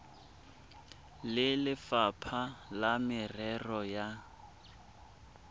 le lefapha la merero ya